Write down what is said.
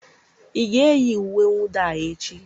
ị ga-eyi uwe mwụda a echi?